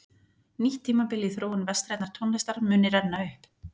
Nýtt tímabil í þróun vestrænnar tónlistar muni renna upp.